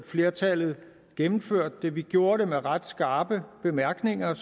flertallet gennemførte dem vi gjorde det med ret skarpe bemærkninger jeg